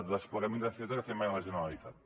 desplegament de fibra que ha fet mai la generalitat